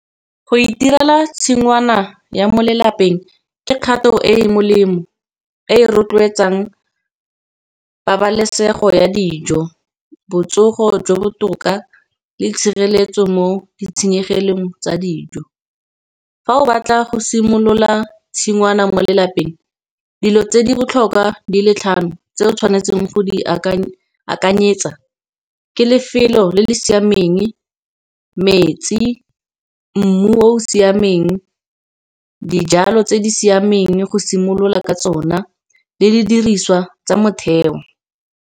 Go itirela tshingwana ya mo lelapeng ke kgato e e molemo, e rotloetsang pabalesego ya dijo, botsogo jwa botoka le tshireletso mo ditshenyegelong tsa dijo. Fa o batla go simolola tshingwana mo lelapeng dilo tse di botlhokwa di le tlhano tse o tshwanetseng go di akanye akanyetsa ke lefelo le le siameng eng metsi mmu o o siameng dijalo tse di siameng go simolola ka tsona le di diriswa tsa motheo.